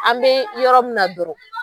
An be yɔrɔ min na dɔrɔn